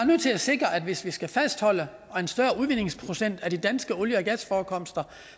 nødt til at sikre at hvis vi skal fastholde en større udvindingsprocent af de danske olie og gasforekomster